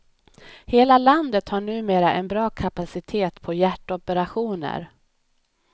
Hela landet har numera en bra kapacitet på hjärtoperationer.